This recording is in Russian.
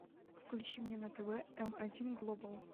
включи мне на тв эм один глобал